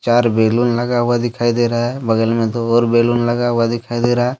चार बैलून लगा हुआ दिखाई दे रहा है बगल में दो और बैलून लगा हुआ दिखाई दे रहा है।